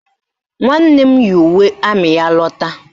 Nwanne m yi uwe amị ya lata